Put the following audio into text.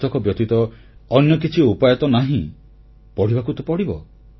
ପୁସ୍ତକ ବ୍ୟତୀତ ଅନ୍ୟ କିଛି ଉପାୟ ତ ନାହିଁ ପଢ଼ିବାକୁ ତ ପଢ଼ିବ